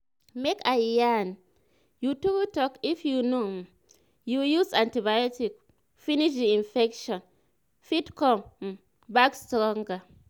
make i yarn you true talk if you no um use your antibotics um finish the infection fit come um back stronger